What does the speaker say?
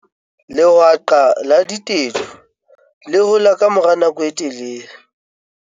lehwaqa la ditedu le hola ka mora nako e telele